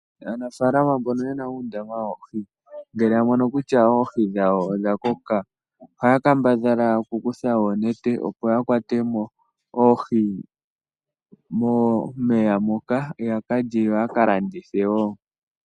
Aanafalama mboka yena uundama woohi ngele ta mono kutya oohi dhawo odha koka ohaya kambadhala oku kutha oonete yedhi kwatemo momeya ya kale noku landitha wo.